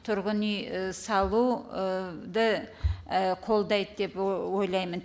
тұрғын үй салу қолдайды деп ойлаймын